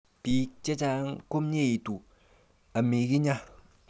Bik chechang komyeitu amikinya.